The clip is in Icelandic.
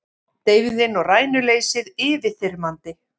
Deyfðin og rænuleysið yfirþyrmandi.